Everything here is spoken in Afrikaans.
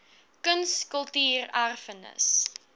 kuns kultuur erfenis